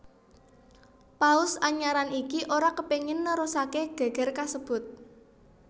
Paus anyaran iki ora kepingin nerusake geger kasebut